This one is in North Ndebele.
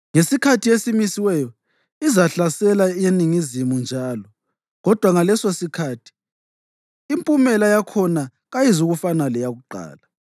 Ngesikhathi esimisiweyo izahlasela eNingizimu njalo, kodwa ngalesosikhathi impumela yakhona kayizukufana leyakuqala.